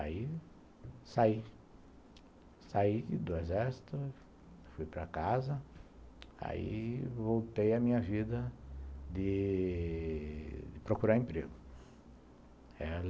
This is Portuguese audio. Aí saí, saí do exército, fui para casa, aí voltei à minha vida de de procurar emprego.